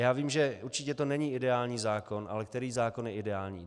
Já vím, že to určitě není ideální zákon, ale který zákon je ideální?